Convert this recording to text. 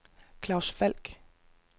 Claus Falk